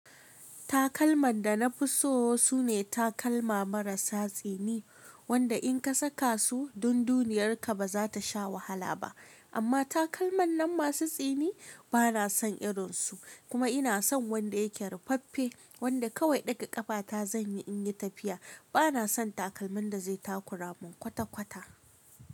Takalman da na fi so su ne takalma marasa tsini, wanda in ka saka su dundiyarka ba za ta sha wahala ba. Amma takalman nan masu tsini ba na son irinsu, kuma ina son wanda yake rufaffe wanda kawai daga ƙafa ta zan yi in yi tafiya. Ba na son takalmin da zai takuramin kwata-kwata.